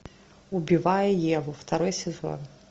убивая еву второй сезон